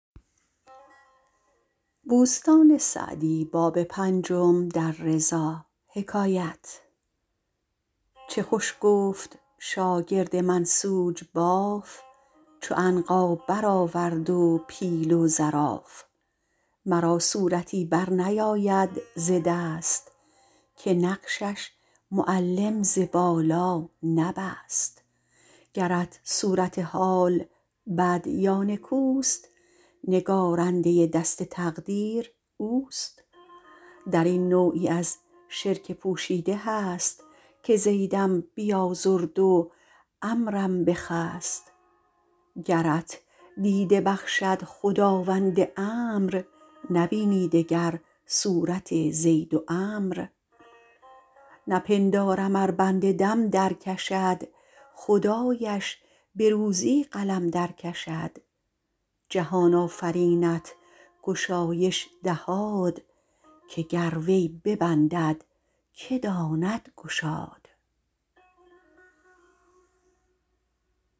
چه خوش گفت شاگرد منسوج باف چو عنقا بر آورد و پیل و زراف مرا صورتی بر نیاید ز دست که نقشش معلم ز بالا نبست گرت صورت حال بد یا نکوست نگارنده دست تقدیر اوست در این نوعی از شرک پوشیده هست که زیدم بیازرد و عمروم بخست گرت دیده بخشد خداوند امر نبینی دگر صورت زید و عمرو نپندارم ار بنده دم در کشد خدایش به روزی قلم در کشد جهان آفرینت گشایش دهاد که گر وی ببندد که داند گشاد